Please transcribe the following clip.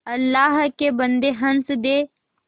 अल्लाह के बन्दे हंस दे